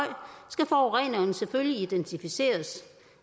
skal forureneren selvfølgelig identificeres